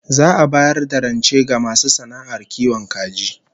Za'a bayar da rance ga masu sana'ar kiwon kaji